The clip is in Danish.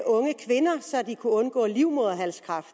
unge kvinder så de kunne undgå livmoderhalskræft